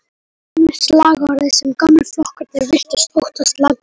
Það var einmitt slagorðið sem gömlu flokkarnir virtust óttast langmest.